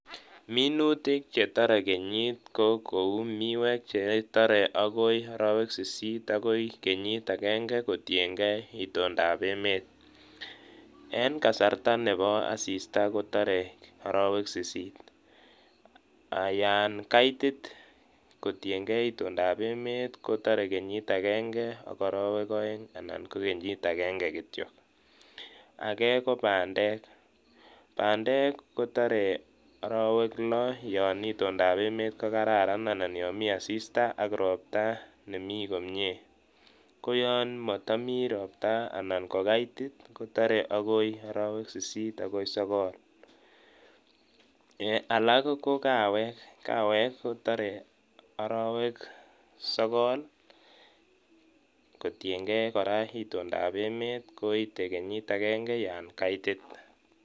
Minutik chetore kenyit ko kouu miwek chetore akoi orowek sisit akoi kenyit akeng'e kotieng'ee itondab emet, en kasarta nebo asista kotore orowek sisit, yaan kaitit kotieng'ee itondab emet kotore kenyit akeng'e ak orowek oeng anan ko kenyit akeng'e kityok, akee ko bandek, bandek kotore orowek loo yoon itondab emet ko kararan anan yoon mii asista ak robta nemii komie , ko yoon motomii robta anan ko kaitit kotore orowek sisit akoi sokol, alak ko kawek, kawek kotore orowek sokol kotieng'ee kora itondab emet koite kenyit akeng'e yoon kaitit.